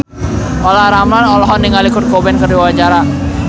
Olla Ramlan olohok ningali Kurt Cobain keur diwawancara